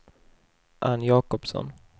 Ann Jakobsson